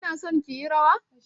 Kina son ki yi rawa?